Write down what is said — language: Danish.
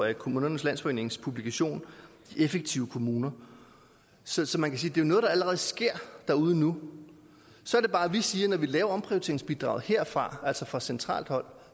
af kommunernes landsforenings publikation effektive kommuner så så man kan sige det er noget der allerede sker derude nu så er det bare at vi siger at når vi laver omprioriteringsbidraget herfra altså fra centralt hold